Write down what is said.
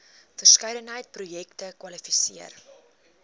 verskeidenheid projekte kwalifiseer